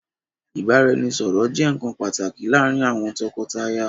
Ìbára-ẹni-sọ̀rọ̀ jẹ nkan pàtàkì láàrin àwọn tọkọtaya.